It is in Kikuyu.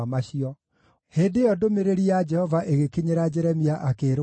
Hĩndĩ ĩyo ndũmĩrĩri ya Jehova ĩgĩkinyĩra Jeremia, akĩĩrwo ũũ: